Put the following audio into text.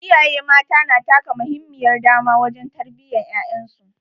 Iyaye mata na taka muhimmiyar dama wajen tarbiyyar ƴaƴan su.